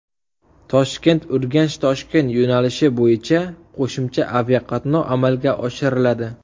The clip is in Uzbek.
Toshkent UrganchToshkent yo‘nalishi bo‘yicha qo‘shimcha aviaqatnov amalga oshiriladi.